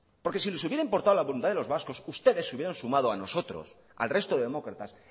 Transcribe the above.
porque si les hubiera importado la voluntad de los vascos ustedes se hubieran sumado a nosotros al resto de demócratas